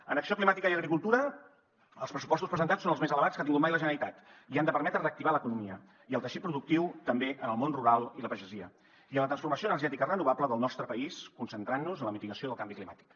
en acció climàtica i agricultura els pressupostos presentats són els més elevats que ha tingut mai la generalitat i han de permetre reactivar l’economia i el teixit productiu també en el món rural i la pagesia i en la transformació energètica renovable del nostre país concentrant nos en la mitigació del canvi climàtic